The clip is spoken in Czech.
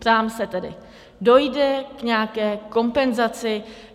Ptám se tedy: Dojde k nějaké kompenzaci?